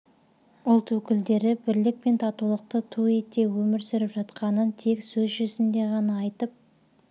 ұлт өкілдері бірлік пен татулықты ту ете өмір сүріп жатқанын тек сөз жүзінде ғана айтып